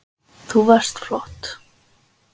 Þú varst flott